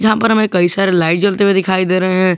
ऊपर में कई सारे लाइट जलते हुए दिखाई दे रहे है।